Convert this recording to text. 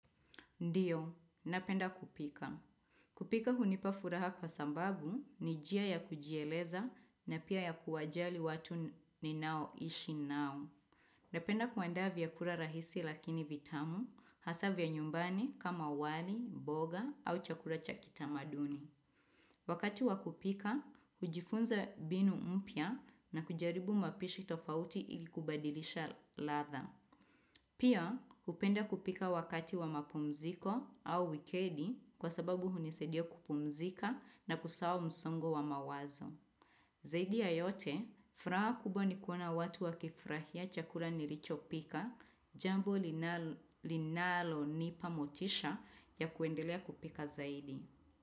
Ndiyo, napenda kupika. Kupika hunipa furaha kwa sambabu ni jia ya kujieleza na pia ya kuwajali watu ninao ishi nao. Napenda kuandaa vyakura rahisi lakini vitamu, hasa vya nyumbani kama wali, boga au chakura cha kitamaduni. Wakati wakupika, hujifunza binu mpya na kujaribu mapishi tofauti ilibkubadilisha ladha. Pia, hupenda kupika wakati wa mapumziko au wikedi kwa sababu hunisedia kupumzika na kusawa msongo wa mawazo. Zaidi ya yote, fraha kubo ni kuona watu wa kifrahia chakula nilicho pika jambo linalonipa motisha ya kuendelea kupika zaidi.